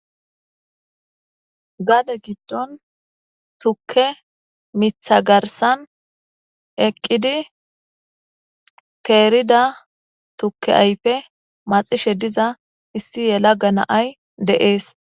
Gadde giddon tukke miiththa garssan eqqidi terrida tuke ayfe maaxishe diza issi yelagga nay dees.